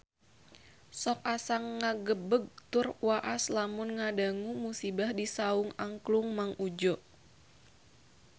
Sok asa ngagebeg tur waas lamun ngadangu musibah di Saung Angklung Mang Udjo